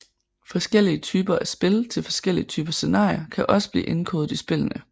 Forskellige typer af spil til forskellige typer scenarier kan også blive indkodet i spillene